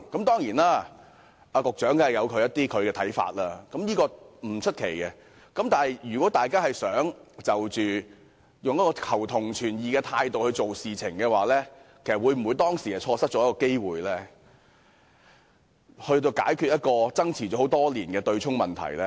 當然，局長有其看法，這不足為奇，但如果大家真的是秉持求同存異的態度，那麼當時是否錯失了一個機會，解決爭持多年的強積金對沖問題呢？